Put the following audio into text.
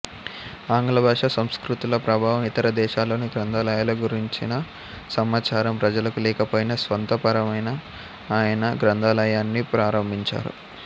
ఆంగ్లభాషా సంస్కృతుల ప్రభావం ఇతర దేశాల్లోని గ్రంథాలయాల గురించిన సమాచారం ప్రజలకు లేకపోయినా స్వంత ప్రేరణపై ఆయన గ్రంథాలయాన్ని ప్రారంభించారు